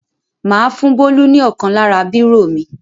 Mà á fún Bólú ní ọ̀kan lára bírò mi.